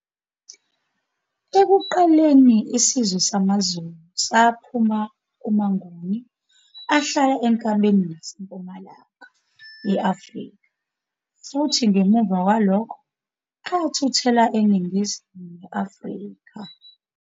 Ekuqaleni, isizwe samaZulu saphuma kumaNguni ahlala enkabeni naseMpumalanga ye-Afrika futhi ngemuva kwalokho athuthela eNingizimu ne-Afrika